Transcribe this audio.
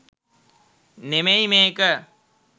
නෙමෙයි මේක.